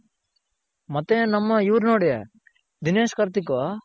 ಮತ್ತೆ ನಮ್ಮ ಇವ್ರ್ ನೋಡಿ ದಿನೇಶ್ ಕಾರ್ತಿಕ್ಕು